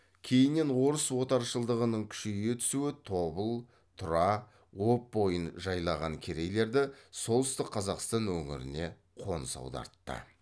кейіннен орыс отаршылдығының күшейе түсуі тобыл тұра об бойын жайлаған керейлерді солтүстік қазақстан өңіріне қоныс аудартты